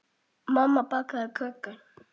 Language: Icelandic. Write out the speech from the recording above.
Mamma bakaði köku.